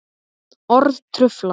Orð trufla.